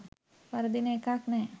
වරදින එකක් නෑ.